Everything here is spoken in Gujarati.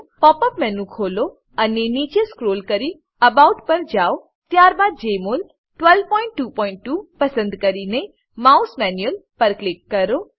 પોપ અપ મેનુ ખોલો અને નીચે સ્ક્રોલ કરી એબાઉટ પર જાવ ત્યારબાદ જમોલ 1222 પસંદ કરીને માઉસ મેન્યુઅલ પર ક્લિક કરો